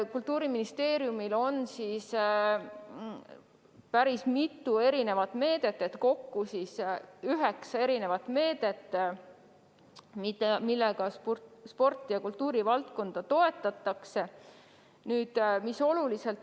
Kultuuriministeeriumil on kokku üheksa erisugust meedet, millega spordi- ja kultuurivaldkonda toetatakse.